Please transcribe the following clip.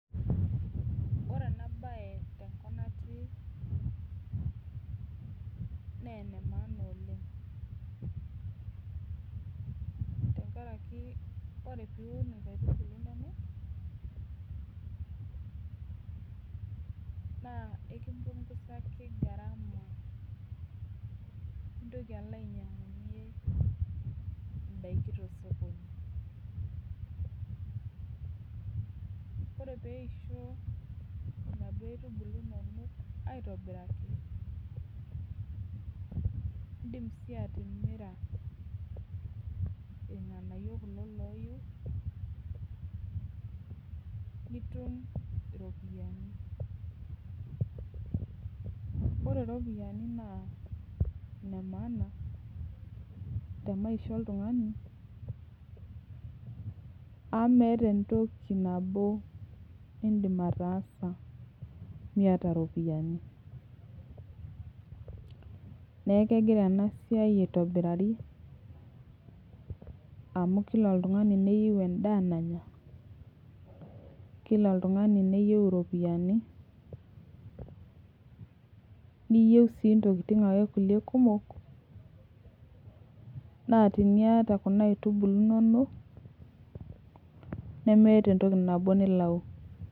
Ore ena baye tenkop natii naa ena maana oleng' tenkaraki ore pee iun nkaitubulu inonok naa akimpungusaki gharama nintoki alo ainyiang'unyie ndaiki tosokoni ore pee eisho inaduo aitubulu inonok aitobiraki iindim sii atimira irng'anayio kulo looiu nitum iropiyiani ore iropiyiani naa inemaana te maisha oltung'ani amu meeta entoki nabo niidim ataasa miata iropiyiani neeku kegira ena siai aitobirari amu kila oltung'ani neyieu endaa nanya kila oltung'ani neyieu iropiyiani niyieu ake ntokitin kulie kumok naa teniata kuna aitubulu inonok nemiata entoki nabo nilau.